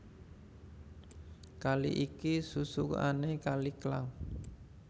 Kali iki susukané Kali Klang